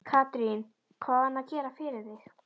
Katrín: Hvað á hann að gera fyrir þig?